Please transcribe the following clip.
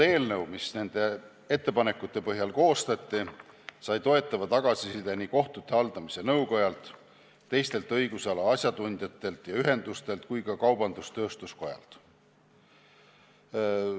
Eelnõu, mis nende ettepanekute põhjal koostati, sai toetava tagasiside kohtute haldamise nõukojalt, teistelt õigusala ajatundjatelt ja ühendustelt ning ka kaubandus-tööstuskojalt.